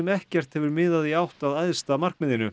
ekkert hefur miðað í átt að æðsta markmiðinu